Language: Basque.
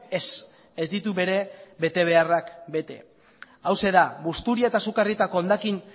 ez ez ditu bere betebeharrak bete hauxe da busturia eta sukarrietako hondakin